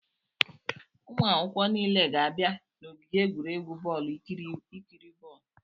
Ụmụ akwụkwọ niile ga-abịa n'ogige egwuregwu bọọlụ ikiri bọọlụ.